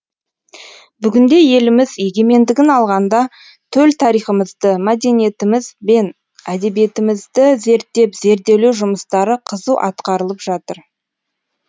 бүгінде еліміз егемендігін алғанда төл тарихымызды мәдениетіміз бен әдебиетімізді зерттеп зерделеу жұмыстары қызу атқарылып жатыр